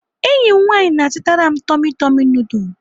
Enyi m nwaanyị na-azụtara m tummy tummy nudul.